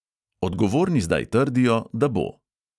Odgovorni zdaj trdijo, da bo!